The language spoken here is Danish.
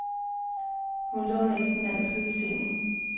Hun lå næsten altid i sengen.